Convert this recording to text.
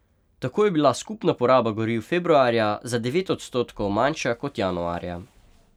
Tako je bila skupna poraba goriv februarja za devet odstotkov manjša kot januarja.